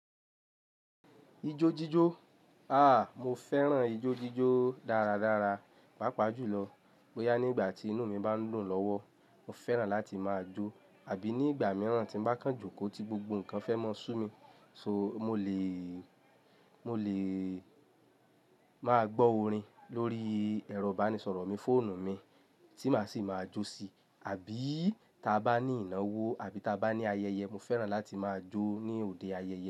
Ijó jíjó? À, mo fẹ́ràn ijó jíjó dáradára. Pápa jùlọ, bóyá ní ìgbà tí inú mi bá ń dùn lọ́wọ́, mo fẹ́ràn láti máa jó àbí ní ìgbà mìíràn tí mo bá kán joko tí gbogbo nǹkan fẹ́ máa sú mi. So mo lè, mo lè máa gbọ́ orin lórí ẹ̀rọ ìbánisọ̀rọ̀ mi, fóònù mi tí màá sì máa jó sí. Àbí ta bá ní ìnáwó àbí ta bá ní ayẹyẹ, mo fẹ́ràn láti máa jó ní òde ayẹyẹ.